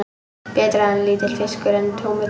Betra er lítill fiskur en tómur diskur.